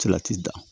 Salati dan